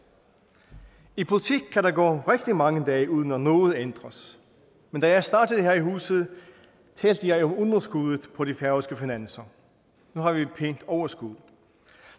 i politik kan der gå rigtig mange dage uden at noget ændres men da jeg startede her i huset talte jeg om underskuddet på de færøske finanser nu har vi et pænt overskud